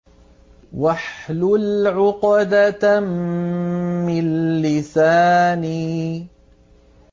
وَاحْلُلْ عُقْدَةً مِّن لِّسَانِي